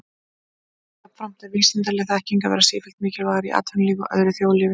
Jafnframt er vísindaleg þekking að verða sífellt mikilvægari í atvinnulífi og öðru þjóðlífi.